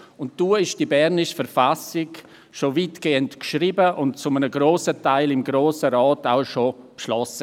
Da war die bernische Verfassung schon weitgehend geschrieben und zu einem grossen Teil vom Grossen Rat bereits beschlossen.